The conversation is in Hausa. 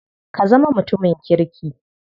Ka zama mutumin kirki.